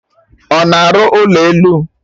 Ọ na-arụ ụlọ elu?